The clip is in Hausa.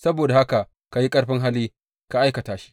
Saboda haka ka yi ƙarfin hali ka aikata shi.